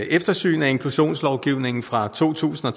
et eftersyn af inklusionslovgivningen fra to tusind og